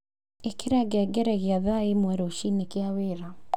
ĩkira ngengeregĩa thaa ĩmwe rũcinĩ gĩa wĩra